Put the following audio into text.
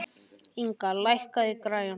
Inga, lækkaðu í græjunum.